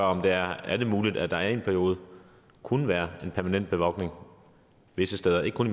om det er muligt at der i en periode kunne være en permanent bevogtning visse steder ikke kun